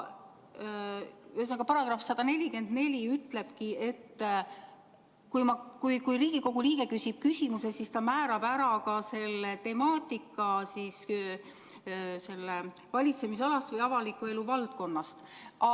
Ühesõnaga, § 144 ütleb, et kui Riigikogu liige soovib esitada küsimuse, siis määrab ta ära ka sellega seotud valitsemisala või avaliku elu valdkonna temaatika.